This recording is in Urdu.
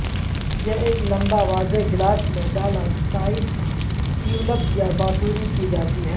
یہ ایک لمبا واضح گلاس میں ڈالا سائز ٹیولپ یا بانسری کی جاتی ہے